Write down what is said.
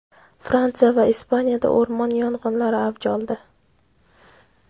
Fransiya va Ispaniyada o‘rmon yong‘inlari avj oldi.